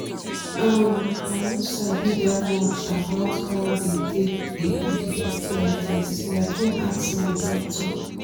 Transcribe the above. um i no sabi that much about how they take the do sti test till i come ask my doctor